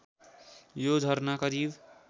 यो झरना करिब